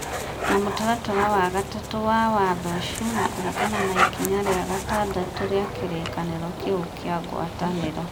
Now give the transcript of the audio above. na mũtaratara wa 3 wa watho ũcio, na kũringana na ikinya rĩa 6 rĩa kĩrĩkanĩro kĩu kĩa ngwatanĩro,